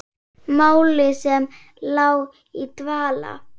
Máli sem lá í dvala!